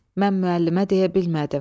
Mən müəllimə deyə bilmədim.